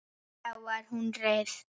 Þá var hún hrærð.